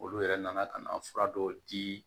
Olu yɛrɛ nana ka na fura dɔw di